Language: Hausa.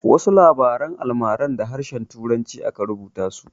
Wasu labaran almarar da harshen turanci aka rubuta su.